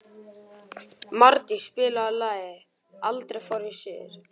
Mardís, spilaðu lagið „Aldrei fór ég suður“.